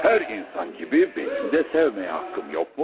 Hər insan kimi mənim də sevməyə haqqım yoxmu?